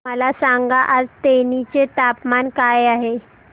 मला सांगा आज तेनी चे तापमान काय आहे